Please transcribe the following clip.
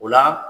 O la